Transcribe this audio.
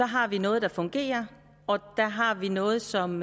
har noget der fungerer og noget som